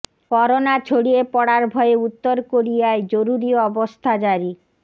corona ছড়িয়ে পড়ার ভয়ে উত্তর কোরিয়ায় জরুরি অবস্থা জারি